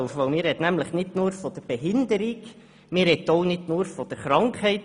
Denn man spricht nicht nur von Behinderung und ebenso wenig nur von Krankheit.